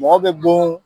Mɔgɔ bɛ bon